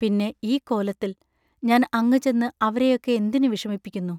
പിന്നെ, ഈ കോലത്തിൽ, ഞാൻ അങ്ങു ചെന്ന് അവരെയൊക്കെ എന്തിനു വിഷമിപ്പിക്കുന്നു?